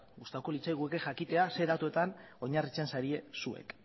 gustatuko litzaiguke jakitea zein datuetan oinarritzen zarien zuek